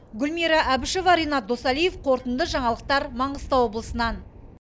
гүлмира әбішева ренат досалиев қорытынды жаңалықтар маңғыстау облысынан